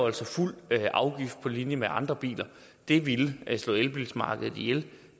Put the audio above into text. altså fuld afgift på linje med andre biler det ville slå elbilmarkedet ihjel og